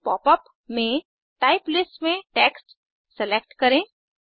नए पॉपअप में type list में टेक्स्ट सेलेक्ट करें